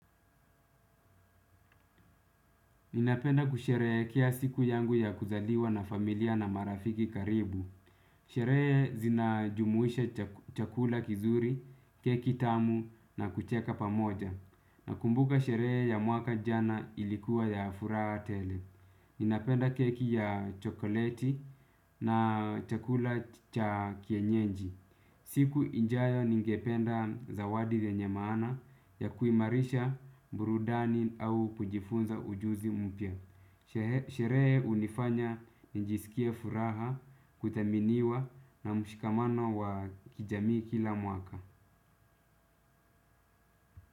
Ninapenda kusherehekea siku yangu ya kuzaliwa na familia na marafiki karibu. Sherehe zinajumuisha chakula kizuri, keki tamu na kucheka pamoja. Nakumbuka sherehe ya mwaka jana ilikuwa ya furaha tele. Ninapenda keki ya chokoleti na chakula cha kienyenji. Siku ijayo ningependa zawadi zenye maana ya kuimarisha burudani au kujifunza ujuzi mpya. Sherehe hunifanya njisikie furaha kuthaminiwa na mshikamano wa kijamii kila mwaka.